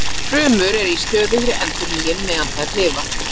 Frumur eru í stöðugri endurnýjun meðan þær lifa.